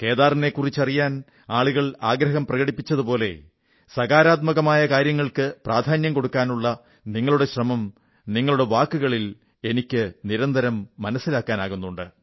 കേദാറിനെക്കുറിച്ചറിയാൻ ആളുകൾ ആഗ്രഹം പ്രകടിപ്പിച്ചതുപോലെ സകാരാത്മകമായ കാര്യങ്ങൾക്ക് പ്രാധാന്യം കൊടുക്കാനുള്ള നിങ്ങളുടെ ശ്രമം നിങ്ങളുടെ വാക്കുകളിൽ എനിക്ക് നിരന്തരം മനസ്സിലാക്കാനാകുന്നുണ്ട്